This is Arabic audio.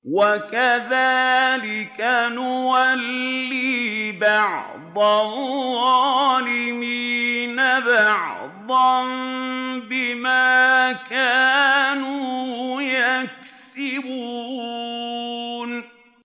وَكَذَٰلِكَ نُوَلِّي بَعْضَ الظَّالِمِينَ بَعْضًا بِمَا كَانُوا يَكْسِبُونَ